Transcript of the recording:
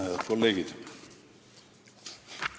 Head kolleegid!